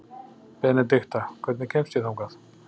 Benedikta, hvernig kemst ég þangað?